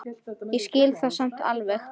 Ég skil það samt alveg.